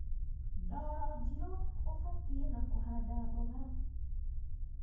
ndoro njiru ubatie na kuhanda mboga